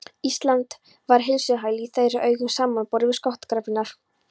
Ísland var heilsuhæli í þeirra augum samanborið við skotgrafirnar.